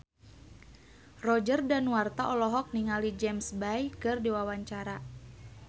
Roger Danuarta olohok ningali James Bay keur diwawancara